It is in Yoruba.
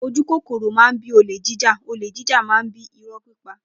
Ojúkọkọro mà bí ólẹ̀ jíjá ólè jijá mà ń bi ìrọ pípà.